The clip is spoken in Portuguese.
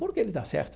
Porque ele está certo.